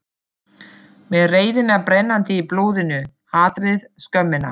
Með reiðina brennandi í blóðinu, hatrið, skömmina.